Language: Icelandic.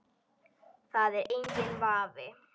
Það er enginn vafi.